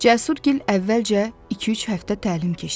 Cəsur gil əvvəlcə iki-üç həftə təlim keçdilər.